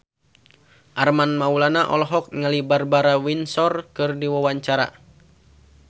Armand Maulana olohok ningali Barbara Windsor keur diwawancara